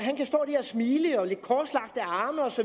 smile med lidt korslagte arme osv